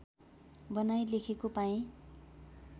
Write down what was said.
बनाई लेखेको पाएँ